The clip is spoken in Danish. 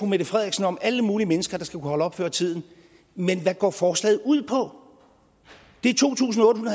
mette frederiksen om alle mulige mennesker der skal kunne holde op før tid men hvad går forslaget ud på det er to tusind otte